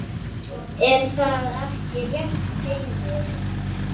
Er það ekki rétt, Heimir?